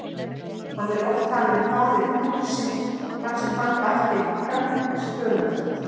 Hann er oft talinn faðir púðursins þar sem hann bætti kraft þess töluvert.